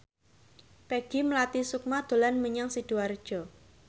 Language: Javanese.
Peggy Melati Sukma dolan menyang Sidoarjo